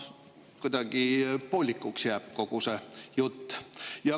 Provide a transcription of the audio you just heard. Kuidagi poolikuks jäi kogu see jutt.